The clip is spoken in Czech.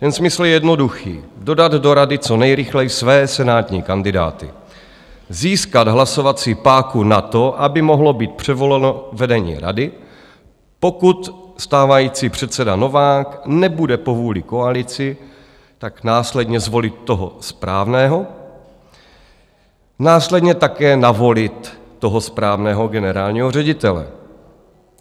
Ten smysl je jednoduchý - dodat do rady co nejrychleji své senátní kandidáty, získat hlasovací páku na to, aby mohlo být předvoleno vedení rady, pokud stávající předseda Novák nebude po vůli koalici, tak následně zvolit toho správného, následně také navolit toho správného generálního ředitele.